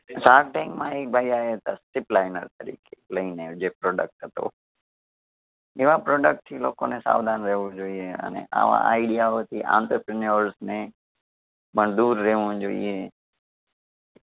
shark tank માં એક ભાઈ આયાતા તરીકે લઈને જે product હતો. એવા product થી લોકોને સાવધાન રહેવું જોઈએ અને આવા idea ઓથી entrepreneur ને પણ દૂર રહેવું જોઈએ.